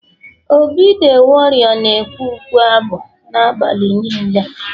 obi the warrior na ekwe ukwe-abụ na abalị nilee